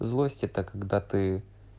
злость это когда ты